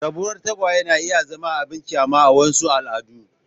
Rabuwar tagwaye na iya zama abin kyama a wasu al'adun.